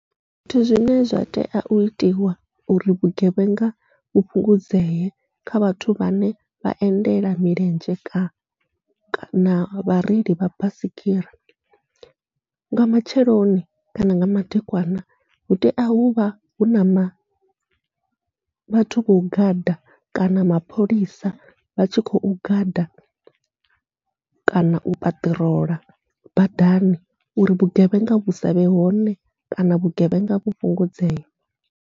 Zwithu zwine zwa tea u itiwa uri vhugevhenga vhu fhungudzee kha vhathu vhane vha endela milenzhe ka kana vhareili vha baisigira, nga matsheloni kana nga madekwana hu tea huvha huna ma vhathu vho gada kana mapholisa vha tshi khou gada kana u paṱirola badani, uri vhugevhenga vhu savhe hone kana vhugevhenga vhu fhungudzee.